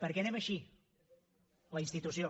perquè anem així la institució